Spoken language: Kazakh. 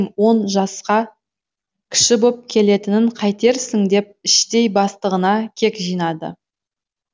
он жасқа кіші боп келетінін қайтерсің деп іштей бастығына кек жинады